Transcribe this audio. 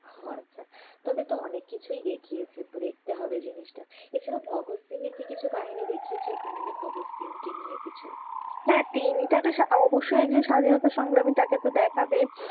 আহ আচ্ছা। তবেতো অনেক কিছুই দেখিয়েছে। দেখতে হবে জিনিসটা। এছাড়া ভগব সিং এর কি কিছু কাহিনী দেখিয়েছে যে ভগৎ সিং কে নিয়ে কিছু? হ্যাঁ তিনি তো একজন অব্যশই একজন স্বাধীনতা সংগ্রামী। তাকেতো দেখাবেই